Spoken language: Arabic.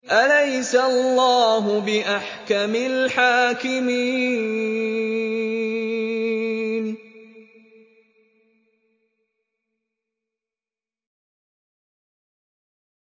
أَلَيْسَ اللَّهُ بِأَحْكَمِ الْحَاكِمِينَ